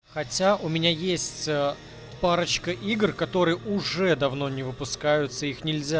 хотя у меня есть парочка игр которые уже давно не выпускаются их нельзя